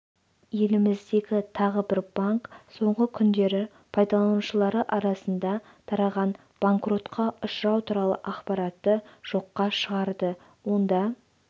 еліміздегі тағы бір банк соңғы күндері пайдаланушылары арасында тараған банкротқа ұшырау туралы ақпаратты жоққа шығарды онда